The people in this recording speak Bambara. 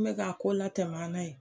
N mɛ k'a ko latɛm'an na ye